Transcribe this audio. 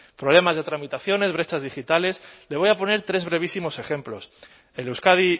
administraciones problemas de tramitaciones brechas le voy a poner tres brevísimos ejemplos el euskadi